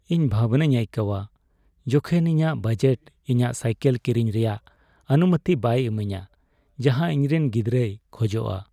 ᱤᱧ ᱵᱷᱟᱵᱱᱟᱧ ᱟᱹᱭᱠᱟᱹᱣᱟ ᱡᱚᱠᱷᱮᱱ ᱤᱧᱟᱹᱜ ᱵᱟᱡᱮᱴ ᱤᱧᱚᱱᱟ ᱥᱟᱭᱠᱤᱞ ᱠᱤᱨᱤᱧ ᱨᱮᱭᱟᱜ ᱚᱱᱩᱢᱚᱛᱤ ᱵᱟᱭ ᱤᱢᱟᱹᱧᱟᱹ ᱡᱟᱦᱟᱸ ᱤᱧᱨᱮᱱ ᱜᱤᱫᱨᱟᱹᱭ ᱠᱷᱚᱡᱚᱜᱼᱟ ᱾